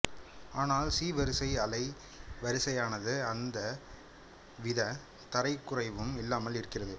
ஆனால் சி வரிசை அலைவரிசையானது எந்த விதத் தரக்குறைவும் இல்லாமல் இருக்கிறது